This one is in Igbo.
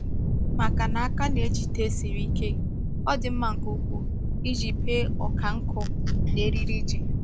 Maka na aka na-ejide siri ike, ọ dị mma nke ukwuu iji bee ọka nkụ na eriri ji.